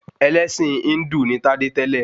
Ẹlẹ́ṣin Híndù ni Tádé tẹ́lẹ̀